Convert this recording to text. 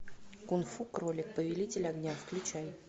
кунг фу кролик повелитель огня включай